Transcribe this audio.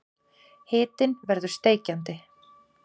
Hitinn verður steikjandi.